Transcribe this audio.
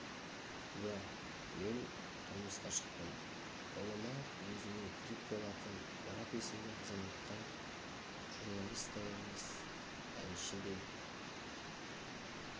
иә мен тұрмысқа шықтым ұлыма өзіме тірек болатын мұрат есімді азаматқа журналист та емес әнші де